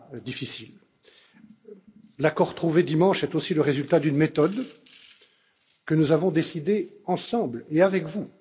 difficile. L'accord trouvé dimanche est aussi le résultat d'une méthode que nous avons décidée ensemble et avec vous.